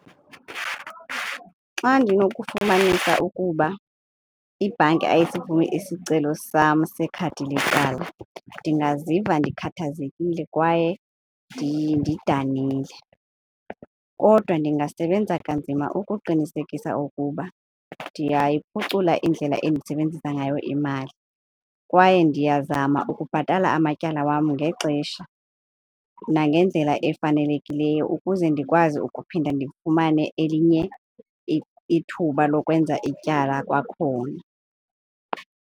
Xa ndinokufumanisa ukuba ibhanki ayisivumi isicelo sam sekhadi letyala ndingaziva ndikhathazekile kwaye ndidanile. Kodwa ndingasebenzisa kanzima ukuqinisekisa ukuba ndiyayiphucula indlela endisebenzisa ngayo imali kwaye ndiyazama ukubhatala amatyala wam ngexesha nangendlela efanelekileyo ukuze ndikwazi ukuphinda ndifumane elinye ithuba lokwenza ityala kwakhona.